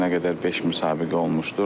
Bu günə qədər beş müsabiqə olmuşdur.